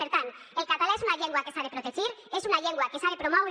per tant el català és una llengua que s’ha de protegir és una llengua que s’ha de promoure